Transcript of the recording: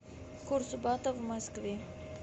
курс бата в москве